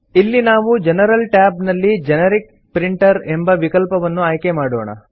ಇಲ್ಲಿ ನಾವು general tab ನಲ್ಲಿ ಜೆನೆರಿಕ್ ಪ್ರಿಂಟರ್ ಎಂಬ ವಿಕಲ್ಪವನ್ನು ಆಯ್ಕೆ ಮಾಡೋಣ